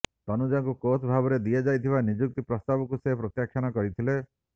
ତନୁଜାଙ୍କୁ coach ଭାବରେ ଦିଆଯାଇଥିବା ନିଯୁକ୍ତି ପ୍ରସ୍ତାବକୁ ସେ ପ୍ରତ୍ୟାଖ୍ୟାନ କରିଥିଲେ